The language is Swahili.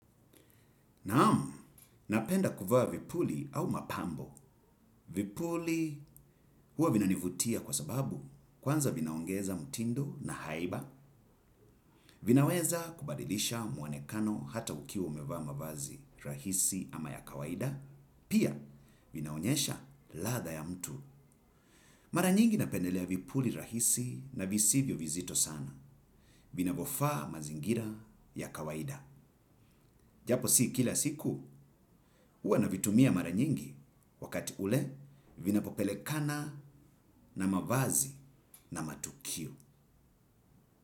Naam, napenda kuvaa vipuli au mapambo. Vipuli huwa vina nivutia kwa sababu kwanza vinaongeza mtindo na haiba. Vinaweza kubadilisha mwonekano hata ukiwa umevaa ma vazi rahisi ama ya kawaida. Pia vinaonyesha ladha ya mtu. Mara nyingi napendelea vipuli rahisi na visivyo vizito sana. Vinavofaa mazingira ya kawaida. Japo si kila siku, huwa na vitumia mara nyingi. Wakati ule, vinapopele kana na mavazi na matukio.